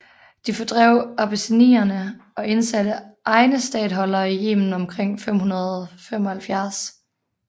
De fordrev abessinierne og indsatte egne statholdere i Yemen omkring 575